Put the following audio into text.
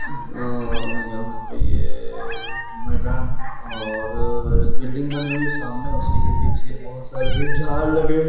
अअअअ यहा पे ये मैदान और- र- एक बिल्डिंग बनी हुवी है सामने उसी के पीछे बोहोत सारे ये झाड लगे है।